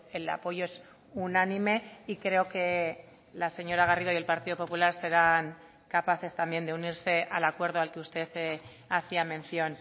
el apoyo es unánime y creo que la señora garrido y el partido popular serán capaces también de unirse al acuerdo al que usted hacía mención